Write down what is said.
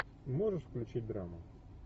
можешь включить драму